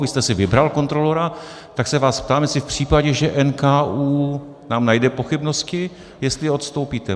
Vy jste si vybral kontrolora, tak se vás ptám, jestli v případě, že NKÚ nám najde pochybnosti, jestli odstoupíte.